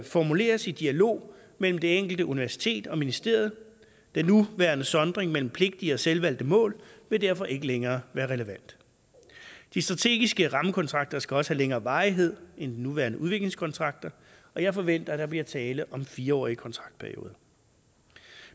formuleres i dialog mellem det enkelte universitet og ministeriet den nuværende sondring mellem pligtige og selvvalgte mål vil derfor ikke længere være relevant de strategiske rammekontrakter skal også have længere varighed end de nuværende udviklingskontrakter og jeg forventer at der bliver tale om fire årige kontraktperioder